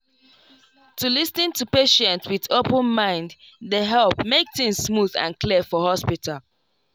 to lis ten to patient with open mind dey help make things smooth and clear for hospital.